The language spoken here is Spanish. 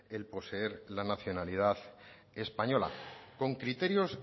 el poseer la nacionalidad española con criterios